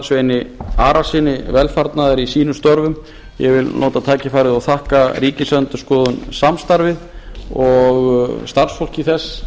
sveini arasyni velfarnaðar í sínum störfum ég vil nota tækifærið og þakka ríkisendurskoðun samstarfið og starfsfólki þess